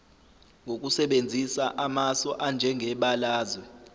ngokusebenzisa amasu anjengebalazwe